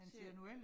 Se